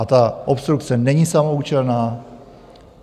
A ta obstrukce není samoúčelná.